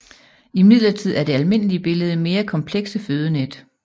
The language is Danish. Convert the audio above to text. Imidlertid er det almindelige billede mere komplekse fødenet